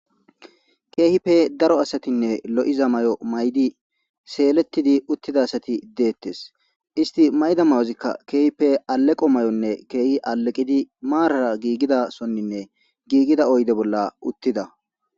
keehipe daro asatinne lo7iza may7o may7di seeletidi uttida asati deettes isti mayda mayozikka keehipe aleqo may7onne keehi aleqidi maarara giigida sonninne giigida oyde bolla uttida